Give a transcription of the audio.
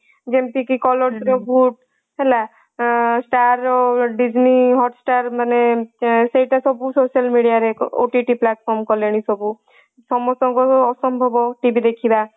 ଯେମିତି କି colors ରେ voot ହେଲା star Disney hotstar ମାନେ ସେଇଟା ସବୁ social media ରେ OTT platform କଲେଣି ସବୁ ସମସ୍ତଙ୍କ ଅସମ୍ଭବ TV ଦେଖିବା